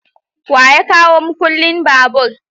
wa ya kawo mukullin babur?